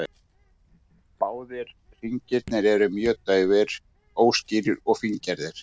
Báðir hringirnir eru mjög daufir, óskýrir og fíngerðir.